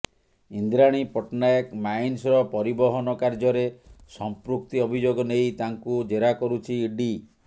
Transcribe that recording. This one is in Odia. ଇନ୍ଦ୍ରାଣୀ ପଟ୍ଟନାୟକ ମାଇନ୍ସର ପରିବହନ କାର୍ଯ୍ୟରେ ସଂପୃକ୍ତି ଅଭିଯୋଗ ନେଇ ତାଙ୍କୁ ଜେରା କରୁଛି ଇଡି